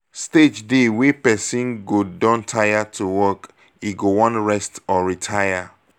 stage dey wey person go don tire to work e go wan rest or retire